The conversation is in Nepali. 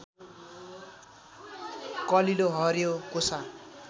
कलिलो हरियो कोसा